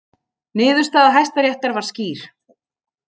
Niðurstaða Hæstaréttar var skýr